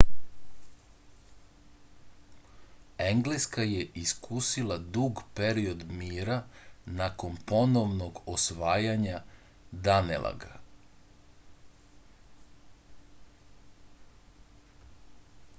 engleska je iskusila dug period mira nakon ponovnog osvajanja danelaga